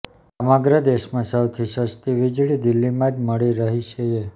સમગ્ર દેશમાં સૌથી સસ્તી વીજળી દિલ્હીમાં જ મળી રહી છએ